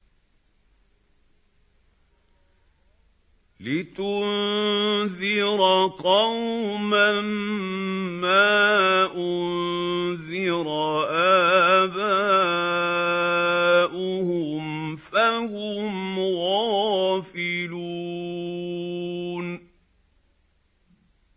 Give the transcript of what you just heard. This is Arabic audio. لِتُنذِرَ قَوْمًا مَّا أُنذِرَ آبَاؤُهُمْ فَهُمْ غَافِلُونَ